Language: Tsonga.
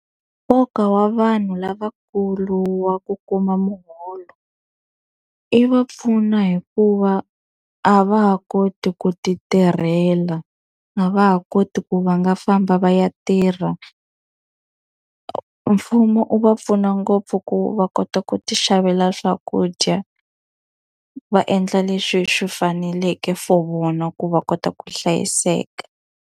Nkoka wa vanhu lavakulu wa ku kuma muholo, yi va pfuna hikuva a va ha koti ku ti tirhela. A va ha koti ku va nga famba va ya tirha. Mfumo wu va pfuna ngopfu ku va kota ku ti xavela swakudya, va endla leswi swi faneleke for vona ku va kota ku hlayiseka.